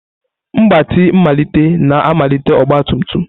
Mgbatị mmalite na-amalite ọgba tum tum.